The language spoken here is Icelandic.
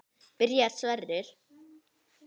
Byrjar Sverrir?